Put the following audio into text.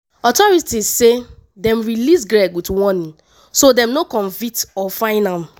authorities say dem release craig wit warning so dem no convict or fine am.